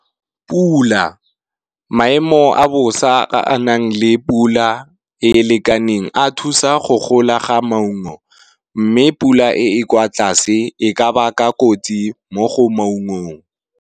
Pula, maemo a bosa a a nang le pula e lekaneng a thusa go gola ga maungo, mme pula e e kwa tlase e ka baka kotsi mo go maungong.